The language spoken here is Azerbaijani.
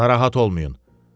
Narahat olmayın.